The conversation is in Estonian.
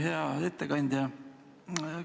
Hea ettekandja!